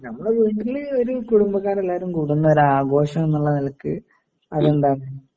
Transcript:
ആ ഞമ്മള് ഒരു കുടുബക്കാരെല്ലാരും കുടുന്നൊരു ആഘോഷമെന്നുള്ള നിലക്ക് അതെന്താണ്